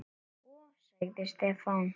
Sko. sagði Stefán.